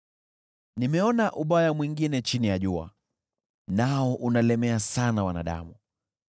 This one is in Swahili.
Nimeona ubaya mwingine chini ya jua, nao unalemea sana wanadamu: